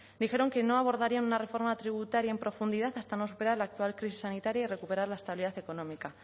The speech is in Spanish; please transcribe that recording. dijeron que no abordaría una reforma tributaria en profundidad hasta no superar la actual crisis sanitaria y recuperar la estabilidad económica